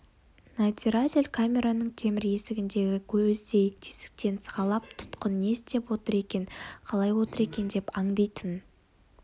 надзиратель камераның темір есігіндегі көздей тесіктен сығалап тұтқын не істеп отыр екен қалай отыр екен деп аңдитын